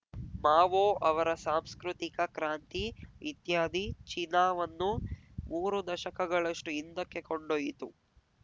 Mao ಅವರ ಸಾಂಸ್ಕೃತಿಕ ಕ್ರಾಂತಿ ಇತ್ಯಾದಿ ಚೀನಾವನ್ನು ಮೂರು ದಶಕಗಳಷ್ಟುಹಿಂದಕ್ಕೆ ಕೊಂಡೊಯ್ಯಿತು